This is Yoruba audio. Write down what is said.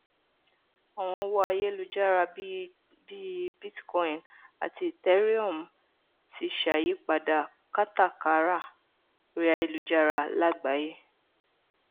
àwọn owó ayélujára bí i bitcoin àti ethereum ti ṣàyípadà kátàkárà orí ayelujára lágbàáyé